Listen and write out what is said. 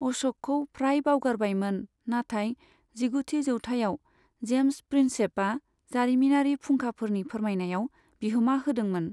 अश'कखौ फ्राय बावगारबायमोन, नाथाइ जिगुथि जौथाइआव जेम्स प्रिन्सेपआ जारिमिनारि फुंखाफोरनि फोरमायनायाव बिहोमा होदोंमोन।